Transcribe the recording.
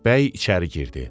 Bəy içəri girdi.